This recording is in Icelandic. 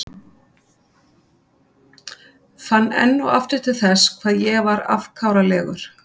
Fann enn og aftur til þess hvað ég var afkáralegur.